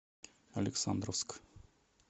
александровск